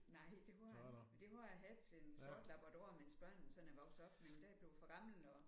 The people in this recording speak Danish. Nej det har jeg ikke. Men det har jeg haft en sort labrador mens børnene sådan er vokset op men der er jeg blevet for gammel nu